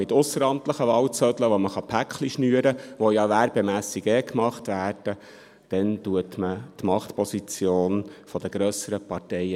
Mit ausseramtlichen Wahlzetteln, mit welchen man Pakete schnüren kann, was zu Werbezwecken ohnehin gemacht wird, festigt man die Machtposition der grösseren Parteien.